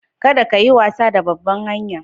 Kadda ka yi wasa a babban hanya'n.